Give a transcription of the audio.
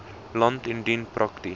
land indien prakties